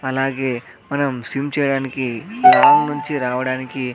అలాగే మనం సిమ్ చేయడానికి లాంగ్ నుంచి రావడానికి.